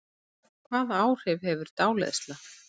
Hvaða áhrif hefur dáleiðsla?